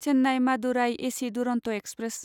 Chennai Madurai AC Duronto express